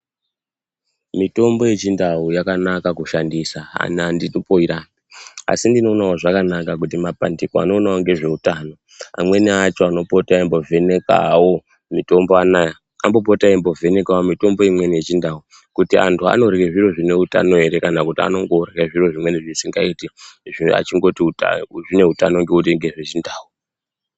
Mitombo yechindau yakanaka kushandisa ini anditomboirambi asi ndinoonawo zvakanaka kuti mapandiko anoonawo ngezveutano amweni acho anopota eimbovhenekawo mitombo anaya ambopotawo eimbovhenekawo mitombo imweni yechindau kuti antu anorye zviro zvine utano ere kana kuti anongorye zviro zvimweni zvisingaiti achingoti zvine utano ngekuti ngezvechindau.